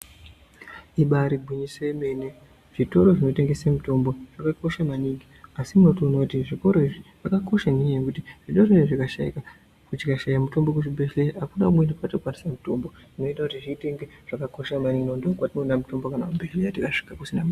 Ibari gwinyiso yemene zvitoro zvinotengese mitombo zvakakosha maningi asi unotoone kuti zvitoro izvi zvakakosha ngenyaya yekuti zvitoro zvinezvi zvikashayika tikashaya mutombo kuzvibhedhlera akuna kumweni kwatinokwanisa mutombo zvinoita kuti zviite kunge zvakakosha maningi nokuti ndokwatinoona mutombo kana wapera.